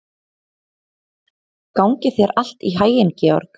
Gangi þér allt í haginn, Georg.